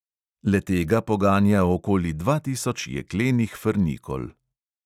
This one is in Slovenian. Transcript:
Le tega poganja okoli dva tisoč jeklenih frnikol.